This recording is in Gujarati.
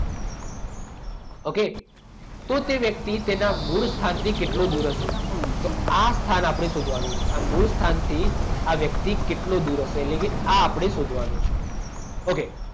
ઓકે? તો તે વ્યક્તિ તેના મૂળ સ્થાનથી કેટલો દૂર હશે? તો આ સ્થાન આપણે શોધવાનું છે. આ મૂળ સ્થાનથી આ વ્યક્તિ કેટલો દૂર હશે? એટલે કે આ આપણે શોધવાનું છે. ઓકે.